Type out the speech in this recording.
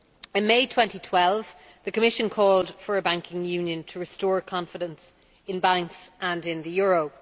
In May 2012, the Commission called for a banking union, to restore confidence in banks and in the euro.